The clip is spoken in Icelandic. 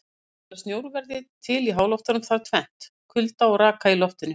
Til að snjór verði til í háloftunum þarf tvennt: Kulda og raka í loftinu.